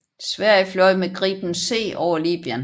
Sverige fløj med Gripen C over Libyen